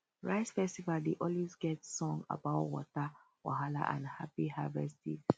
rice festival dey always get song about water wahala and happy harvest days